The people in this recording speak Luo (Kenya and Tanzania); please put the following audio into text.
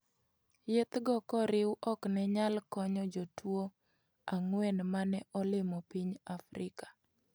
Yedhgo koriw ok ne nyal konyo jotuo ang'uen mane olimo piny Afrika.